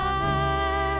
að